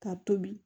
Ka tobi